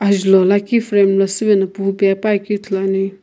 Ajulhou lakhi frame la süvena pe puakeu ithuluani.